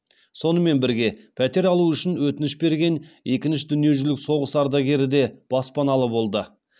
сонымен бірге пәтер алу үшін өтініш берген екінші дүниежүзілік соғыс ардагері де баспаналы болды